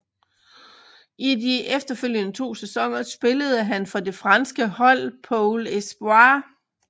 I de efterfølgende 2 sæsoner spillede han for det franske hold Pôle Espoir